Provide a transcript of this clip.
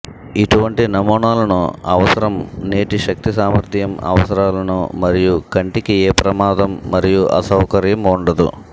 ఇటువంటి నమూనాలను అవసరం నేటి శక్తి సామర్థ్యం అవసరాలను మరియు కంటికి ఏ ప్రమాదం మరియు అసౌకర్యం ఉండదు